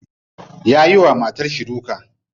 Yayi wa matarshi duka.